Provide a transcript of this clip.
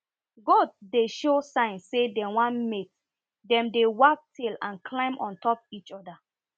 goat dey show sign say dem wan mate dem dey wag tail and climb on top each other